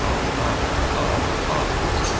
Aha, aa, ah!